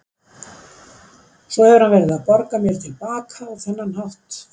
Svo hefur hann verið að borga mér til baka á þennan hátt.